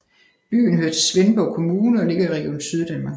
Byen hører til Svendborg Kommune og ligger i Region Syddanmark